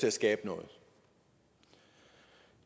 at skabe noget